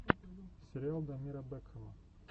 сериал дамира бэкхама